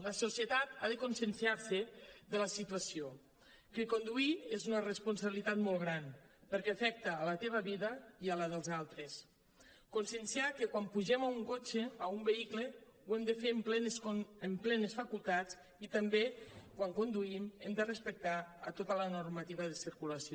la societat ha de conscienciar se de la situació que conduir és una responsabilitat molt gran perquè afecta la teva vida i la dels altres conscienciar que quan pugem a un cotxe a un vehicle ho hem de fer en plenes facultats i també quan conduïm hem de respectar tota la normativa de circulació